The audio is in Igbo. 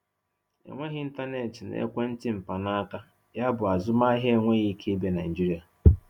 Enweghị ịntanetị na ekwentị mkpanaaka, yabụ azụmaahịa enweghị ike ịbịa Nigeria.